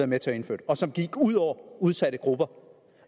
med til at indføre og som gik ud over udsatte grupper